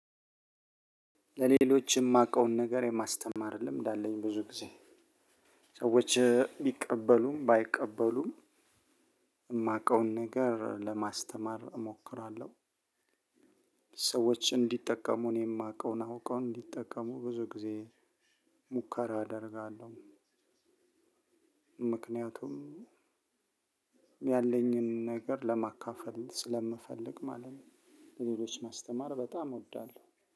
ለሌሎች የማውቀውን ነገር የማስተማር ልምድ አለኝ ብዙ ጊዜ ሰዎች ቢቀበሉም ባይቀበሉም የማውቀውን ነገር ለማስተማር እሞክራለሁ። ሰዎች እንዲጠቀሙ እኔ የማውቀውን አውቀው እንዲጠቀሙ ብዙ ጊዜ ሙከራ አደርጋለሁ። ምክንያቱም ያለኝን ነገር ለማካፈል ስለምፈልግ ማለት ነው። ሌሎች ማስተማር በጣም እወዳለሁ